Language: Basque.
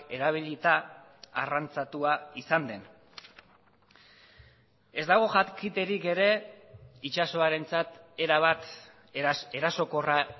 erabilita arrantzatua izan den ez dago jakiterik ere itsasoarentzat erabat erasokorra